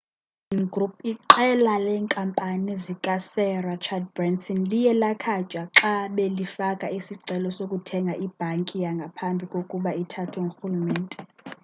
i-virgin group iqela leenkampani zika-sir rachard branson liye lakhatywa xa belifaka isicelo sokuthenga ibhanki ngaphambi kkuba ithathwe ngurhulumente